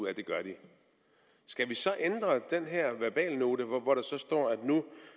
af at de gør det skal vi så ændre den her verbalnote hvor der står stående